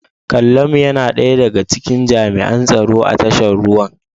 Kallamu yana daya daga cikin jami'an tsaro a tashar ruwan.